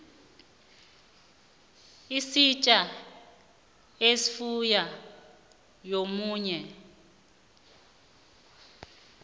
sidla ifuyo yomunye